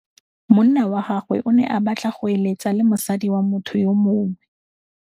Monna wa gagwe o ne a batla go êlêtsa le mosadi wa motho yo mongwe.